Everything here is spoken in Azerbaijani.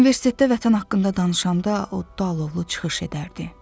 Universitetdə vətən haqqında danışanda oddu, alovlu çıxış edərdi.